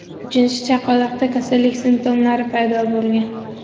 Uchinchi chaqaloqda kasallik simptomlari paydo bo‘lgan.